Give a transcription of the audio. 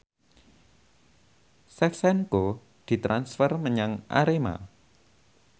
Shevchenko ditransfer menyang Arema